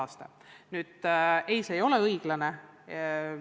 Nüüd aga vastus teile: ei, ebavõrdne puhkus ei ole õiglane.